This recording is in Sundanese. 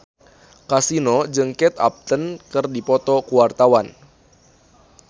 Kasino jeung Kate Upton keur dipoto ku wartawan